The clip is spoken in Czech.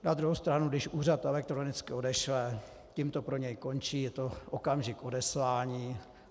Na druhou stranu když úřad elektronicky odešle, tím to pro něj končí, je to okamžik odeslání.